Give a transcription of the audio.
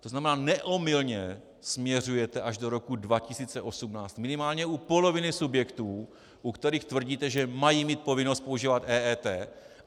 To znamená, neomylně směřujete až do roku 2018 minimálně u poloviny subjektů, u kterých tvrdíte, že mají mít povinnost používat EET.